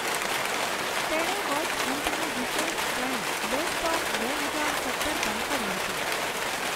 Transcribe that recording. તેણે વર્ષ અંતની વિશેષ શ્રેણી, બેસ્ટ ઓફ બે હજાર સત્તર પણ કરી હતી.